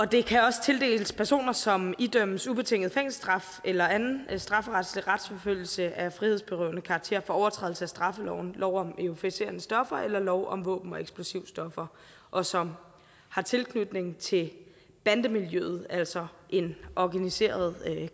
det kan også tildeles personer som idømmes ubetinget fængselsstraf eller anden strafferetslig retsforfølgelse af frihedsberøvende karakter for overtrædelse af straffeloven lov om euforiserende stoffer eller lov om våben og eksplosivstoffer og som har tilknytning til bandemiljøet altså organiseret